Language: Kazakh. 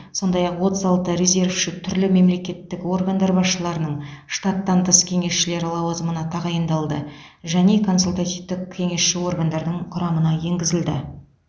сондай ақ отыз алты резервші түрлі мемлекеттік органдар басшыларының штаттан тыс кеңесшілері лауазымына тағайындалды және консультативтік кеңесші органдардың құрамына енгізілді